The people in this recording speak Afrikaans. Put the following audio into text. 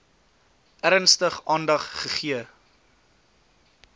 ernstig aandag gegee